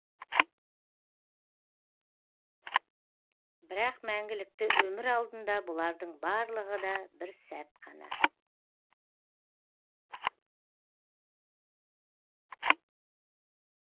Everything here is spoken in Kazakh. бірақ мәңгілікті өмір алдында бұлардың барлығы да бір сәт қана